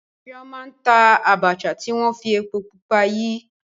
Chioma n ta Abacha ti wọn fi epo pupa yi.